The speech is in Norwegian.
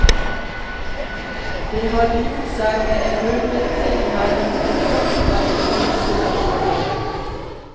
Det hadde gjort seg med en runde til mellom forfatter og konsulent.